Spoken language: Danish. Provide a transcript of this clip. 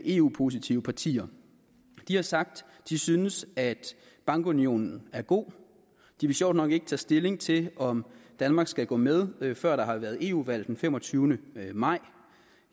eu positive partier de har sagt at de synes at bankunionen er god de vil sjovt nok ikke tage stilling til om danmark skal gå med før der har været eu valg den femogtyvende maj